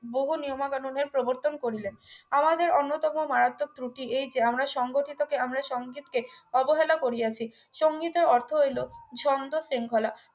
বহু নিয়মাকানুন এর প্রবর্তন করিলেন আমাদের অন্যতম মারাত্মক দুটি এই যে আমরা সংগঠিত কে আমরা সংকেতকে অবহেলা করিয়াছি সংগীতের অর্থ হইলো সুন্দর শৃঙ্খলা